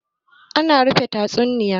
ana rufe tatsuniya?